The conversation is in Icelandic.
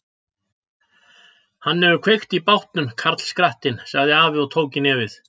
Hann hefur kveikt í bátnum, karlskrattinn, sagði afi og tók í nefið.